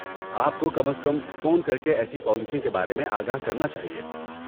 آپ کو کم از کم فون کرکے ایسی پالیسیوں کے بارے میں آگاہ کرنا چاہیے۔